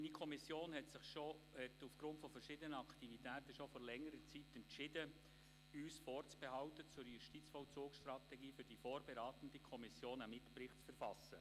Meine Kommission hat sich aufgrund verschiedener Aktivitäten bereits vor längerer Zeit entschieden, uns vorzubehalten zur Justizvollzugsstrategie einen Mitbericht für die vorberatende Kommission zu verfassen.